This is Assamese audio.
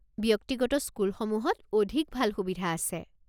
ব্যক্তিগত স্কুলসমূহত অধিক ভাল সুবিধা আছে।